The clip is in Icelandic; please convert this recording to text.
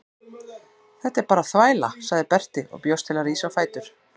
Þetta er bara þvæla, sagði Berti og bjóst til að rísa á fætur.